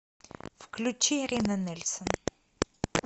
включи ирина нельсон